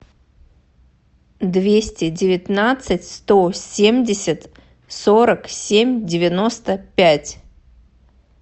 двести девятнадцать сто семьдесят сорок семь девяносто пять